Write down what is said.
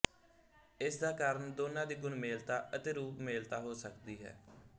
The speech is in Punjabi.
ਇਸ ਦਾ ਕਾਰਨ ਦੋਨਾਂ ਦੀ ਗੁਣਮੇਲਤਾ ਅਤੇ ਰੂਪਮੇਲਤਾ ਹੋ ਸਕਦੀ ਹੈ